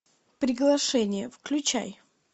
приглашение включай